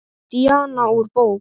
Díana úr bók.